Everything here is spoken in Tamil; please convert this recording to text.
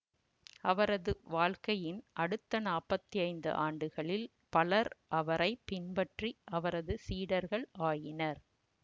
அவரது வாழ்க்கையின் அடுத்த நாப்பத்தி ஐந்து ஆண்டுகளில் பலர் அவரை பின்பற்றி அவரது சீடர்கள் ஆயினர்